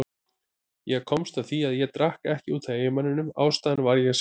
Ég komst að því að ég drakk ekki út af eiginmanninum, ástæðan var ég sjálf.